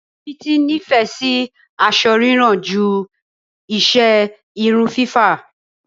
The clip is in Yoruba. Títí nífẹ̀ẹ́ iṣẹ́ aṣọ rírán ju iṣẹ́ irun fífá.